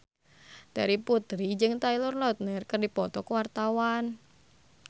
Terry Putri jeung Taylor Lautner keur dipoto ku wartawan